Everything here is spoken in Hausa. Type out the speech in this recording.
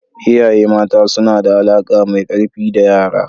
Iyaye mata suna da alaƙa mai ƙarfi da yara.